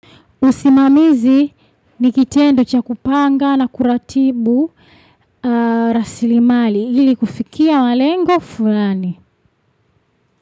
Usimamizi nikitendo chakupanga na kuratibu rasilimali ili kufikia malengo fulani.